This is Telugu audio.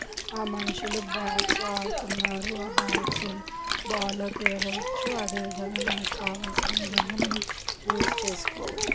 ఆ మనుషులు బ్యాట్స్ ఆడుతున్నారు. ఆ బ్యాట్స్ బాల్ అవచ్చు. అదే విధంగా మనక్ కావాల్సిన విధంగా మనం యూస్ మనం చేసుకోవచ్చు.